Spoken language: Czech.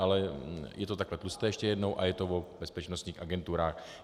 Ale je to takhle tlusté, ještě jednou, a je to o bezpečnostních agenturách.